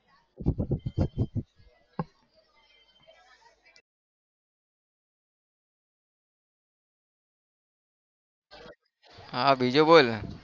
હા બીજું બોલ